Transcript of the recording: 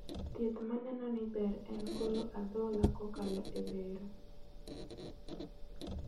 Thieth maneno ni ber en golo adhola kokalo e bero